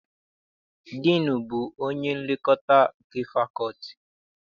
Diinu bụ onye nlekọta nke fakọlti.